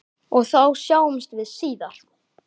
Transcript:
Og þá sjáumst við síðar!